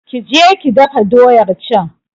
Ki je ki dafa doyar can!